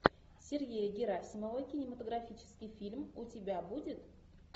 сергея герасимова кинематографический фильм у тебя будет